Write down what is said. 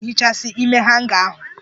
Onye ga-ehichasi ime hanga ahụ?